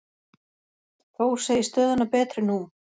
Þór segir stöðuna betri nú.